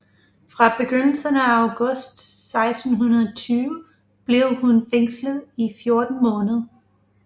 Fra begyndelsen af august 1620 blev hun fængslet i fjorten måneder